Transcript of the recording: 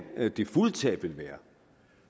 det fulde tab ville